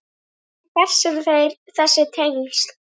En hver eru þessi tengsl?